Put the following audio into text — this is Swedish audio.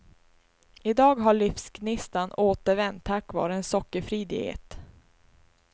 I dag har livsgnistan återvänt tack vare en sockerfri diet.